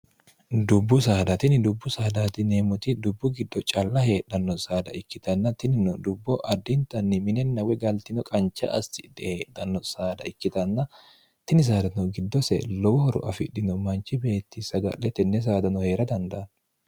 dubbu saadatini dubbu saadaatineemmoti dubbu giddo calla heedhanno saada ikkitanna tinino dubbo addintanni minenna wegaltino qancha astidhe heedhanno saada ikkitanna tini saadatino giddose lowo horo afidhino manchi beetti saga'le tenne saadano hee'ra dandaanno